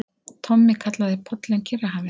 Tommi kallaði pollinn Kyrrahafið.